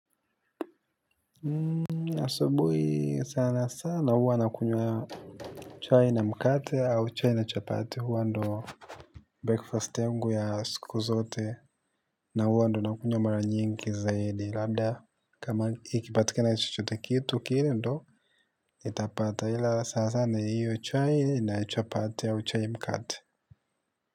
Asubuhi sana sana huwa nakunywa chai na mkate au chai na chapati huwa ndo Breakfast yangu ya siku zote na huwa ndo nakunywa mara nyingi zaidi labda kama ikipatikana chochote kitu kile ndo nitapata ila sana sana hiyo chai na chapati au chai mkate.